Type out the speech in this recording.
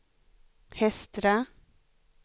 Hestra